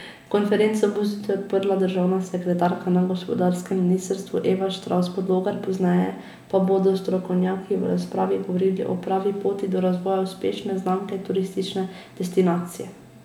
Konferenco bo zjutraj odprla državna sekretarka na gospodarskem ministrstvu Eva Štravs Podlogar, pozneje pa bodo strokovnjaki v razpravi govorili o pravi poti do razvoja uspešne znamke turistične destinacije.